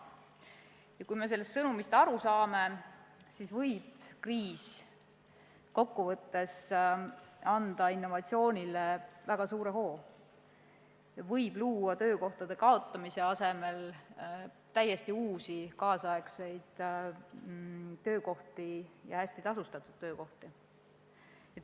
Ja kui me sellest sõnumist aru saame, siis võib kriis kokkuvõttes anda innovatsioonile väga suure hoo, võib luua töökohtade kaotamise asemel täiesti uusi, tänapäevaseid ja hästi tasustatud töökohti.